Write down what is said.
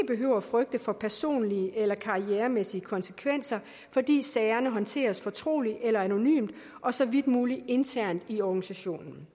behøver frygte for personlige eller karrieremæssige konsekvenser fordi sagerne håndteres fortroligt eller anonymt og så vidt muligt internt i organisationen